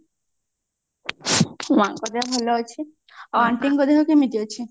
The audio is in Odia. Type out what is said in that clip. ମାଙ୍କ ଦେହ ଭଲ ଅଛି ଆଉ aunty ଙ୍କ ଦେହ କେମତି ଅଛି